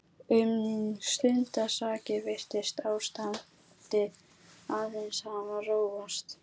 Um stundarsakir virtist ástandið aðeins hafa róast.